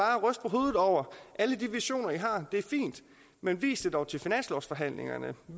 hovedet over alle de visioner i har det er fint men vis det dog til finanslovsforhandlingerne